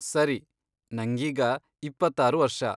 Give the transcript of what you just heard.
ಸರಿ, ನಂಗೀಗ ಇಪ್ಪತ್ತಾರು ವರ್ಷ.